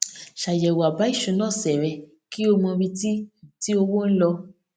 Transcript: ṣàyẹwò àbá ìṣúná ọsẹ rẹ kí o mọ ibi tí tí owó n lọ